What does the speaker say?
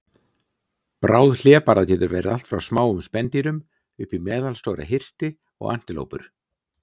Bráð hlébarða getur verið allt frá smáum spendýrum upp í meðalstóra hirti og antilópur.